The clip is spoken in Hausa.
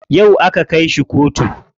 Yau aka kai shi kotu.